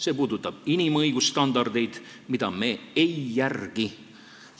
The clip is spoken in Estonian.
See puudutab inimõigusstandardeid, mida me ei järgi.